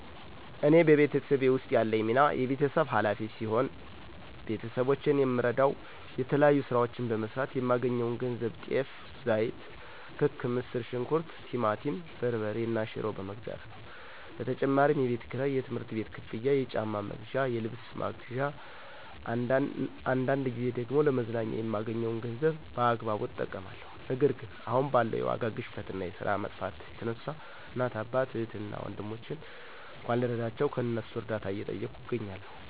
እኔ በቤተሰቤ ውስጥ ያለኝ ሚና የቤተሰብ ኋላፊ ሲሆን፤ ቤተሰቦቼን የምረደዉ የተለያዩ ስራዎችን በመስራት የማገኘውን ገንዘብ ጤፍ፣ ዘይት፣ ክክ፣ ምስር ሽንኩርት፣ ቲማቲም በርበሬ እና ሽሮ በመግዛት ነው። በተጨማሪም የቤት ክራይ፣ የትምህርት ቤት ክፍያ፣ የጫማ መግዣ፣ የልብስ መግዣ እና አንዳንድ ጊዜ ደግሞ ለመዝናኛ የማገኘዉን ገንዘብ በአግባቡ እጠቀማለሁ። ነገር ግን አሁን ባለው የዋጋ ግሽፈት እና የስራ መጥፋት የተነሳ እናት፣ አባት፣ እህት እና ወንድሞቼን እንኳን ልረዳቸው ከእነሱ እርዳታ እየጠየኩ እገኛለሁ።